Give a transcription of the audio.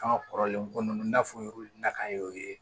An ka kɔrɔlen ko ninnu n'a fɔra nakayo ye